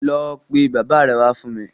Lọ pe bàbáa rẹ wá fún mi!